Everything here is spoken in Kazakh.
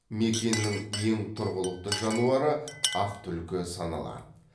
мекеннің ең тұрғылықты жануары ақ түлкі саналады